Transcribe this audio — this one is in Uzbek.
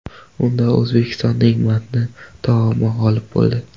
Unda O‘zbekistonning manti taomi g‘olib bo‘ldi.